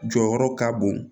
Jɔyɔrɔ ka bon